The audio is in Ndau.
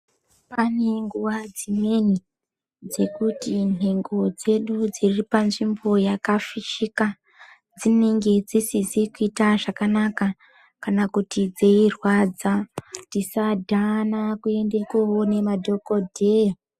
Pane nguva dzimweni dzekuti nhengo dzedu dziri pa nzvimbo yaka fishika dzinenge dzisizi kuita zvakanaka kana kuti dzeyi rwadza tisa dhana kuende koone madhokodheya.